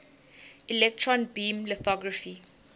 electron beam lithography